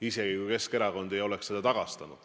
Isegi kui Keskerakond ei oleks seda tagastanud.